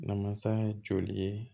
Namasa ye joli ye